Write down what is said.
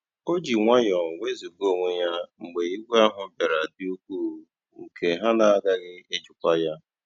O jì nwayọ́ọ́ nwézugà onwé ya mgbe ìgwè ahụ́ bìàra dị́ ùkwuù nkè na ha àgàghị́ èjìkwa ya.